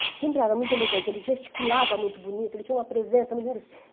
ele sempre era muito elegante, ele gesticulava muito bonito, ele tinha uma presença muito